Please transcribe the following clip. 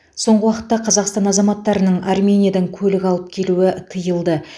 соңғы уақытта қазақстан азаматтарының армениядан көлік алып келуі тыйылды